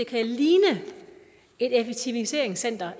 kan ligne et effektiviseringscenter